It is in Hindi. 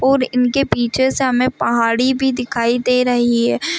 और इनके पीछे से हमें पहाड़ी भी दिखाई दे रही है।